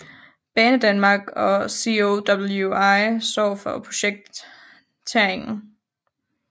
Banedanmark og COWI står for projekteringen